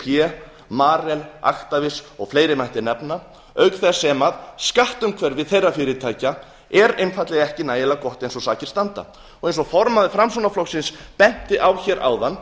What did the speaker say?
ccp marel actavis og fleiri mætti nefna auk þess sem skatt umhverfi þeirra fyrirtækja er einfaldlega ekki nægilega gott eins og sakir standa eins og formaður framsóknarflokksins benti á hér áðan